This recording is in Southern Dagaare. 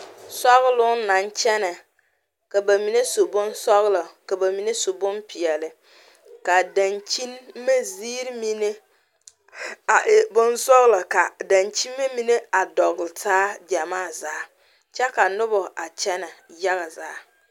Sɔgloŋ naŋ kyɛnɛ ka ba mine su bonsɔglɔ ka ba mine su bonpeɛlle ka a dankyinime ziiri mine a e bonsɔglɔ ka a dankyine mine e a dɔgle taa gyɛmaa zaa kyɛ ka noba a kyɛ yaga zaa.